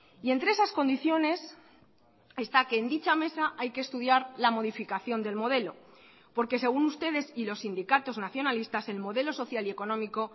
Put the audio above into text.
y entre esas condiciones está que en dicha mesa hay que estudiar la modificación del modelo porque según ustedes y los sindicatos nacionalistas el modelo social y económico